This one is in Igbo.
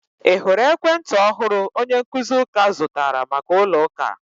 Ị hụrụ ekwentị ọhụrụ onye nkuzi ųka zụtara maka ụlo ųka?